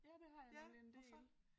Ja det har jeg nemlig en del